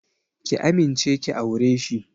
Ki amince ki aure shi!